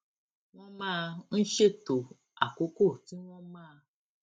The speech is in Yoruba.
wón máa ń ṣètò àkókò tí wón máa